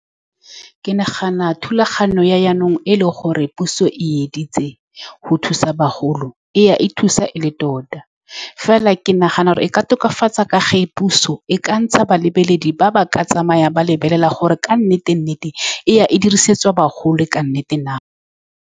Ke nagana thulaganyo ya jaanong, e e leng gore puso e editseng go thusa bagolo, e ya e thusa e le tota mme fela ke nagana gore e ka tokafatsa ka ge puso e ka ntsha ba lebeledi ba ba ka tsamayang, ba lebelela gore ka nnete-nnete e dirisetswa bagolo ka nnete na.